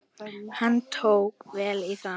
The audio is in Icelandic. Hann tók vel í það.